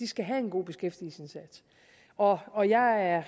skal have en god beskæftigelsesindsats og og jeg er